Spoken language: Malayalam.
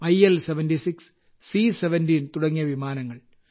ഐ എൽ 76 സി 17 തുടങ്ങിയ വിമാനങ്ങൾ